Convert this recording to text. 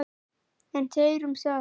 En þeir um það.